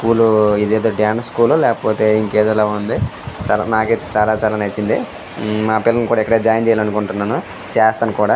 స్కూలూ ఇదేదో dance school ఓ లేకపోతే ఇంకేదొలా ఉంది. నాకైతే చాలా చాలా నచ్చింది. మా పిల్లల్ని కూడా ఇక్కడే జాయిన్ చేయాలనుకుంటున్నను చేస్తాను కూడా.